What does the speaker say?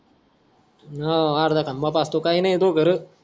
तू अन हा आर्धा खंबा पाजतो काय नाय तुही गरज